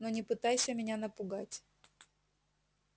но не пытайся меня напугать